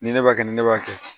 Ni ne b'a kɛ ni ne b'a kɛ